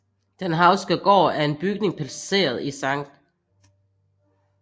Den Hauchske Gård er en bygning placeret i Sct